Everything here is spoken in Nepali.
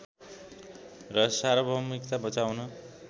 र सार्वभौमिकता बचाउन